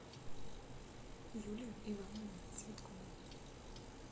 юлию ивановну цветкову